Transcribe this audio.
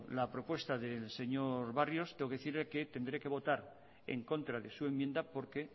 la propuesta del señor barrio tengo que decirle que tendré que votar en contra de su enmienda porque